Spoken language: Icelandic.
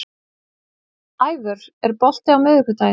Ævör, er bolti á miðvikudaginn?